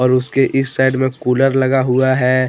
और उसके इस साइड में कूलर लगा हुआ है।